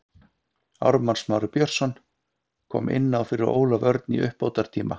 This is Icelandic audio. Ármann Smári Björnsson kom inná fyrir Ólaf Örn í uppbótartíma.